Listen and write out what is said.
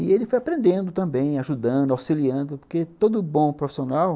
E ele foi aprendendo também, ajudando, auxiliando, porque todo bom profissional...